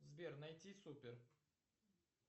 сбер найти супер